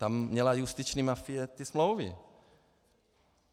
Tam měla justiční mafie ty smlouvy.